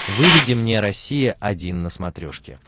выведи мне россия один на смотрешке